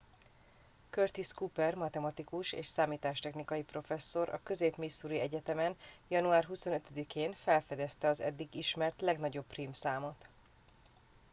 curtis cooper matematikus és számítástechnikai professzor a közép missouri egyetemen január 25 én felfedezte az eddig ismert legnagyobb prím számot